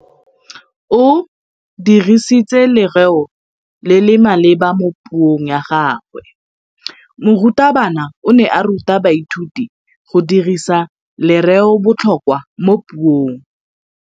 O dirisitse lerêo le le maleba mo puông ya gagwe. Morutabana o ne a ruta baithuti go dirisa lêrêôbotlhôkwa mo puong.